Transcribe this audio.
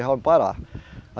Já